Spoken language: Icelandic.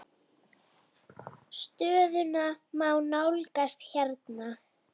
Stöðuna má nálgast hérna.